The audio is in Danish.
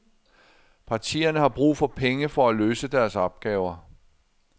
Partierne har brug for penge for at løse deres opgaver.